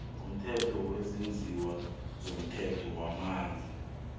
womthetho wesitjhaba wamanzi